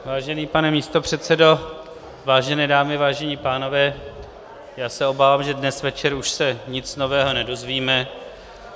Vážený pane místopředsedo, vážené dámy, vážení pánové, já se obávám, že dnes večer už se nic nového nedozvíme.